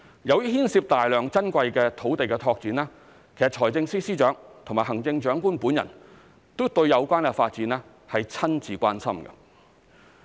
由於牽涉大量珍貴土地的拓展，財政司司長及行政長官都對有關發展親自關心。